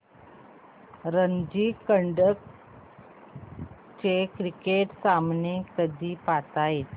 रणजी करंडक चे क्रिकेट सामने कधी पाहता येतील